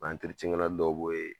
U dɔw bɔ yen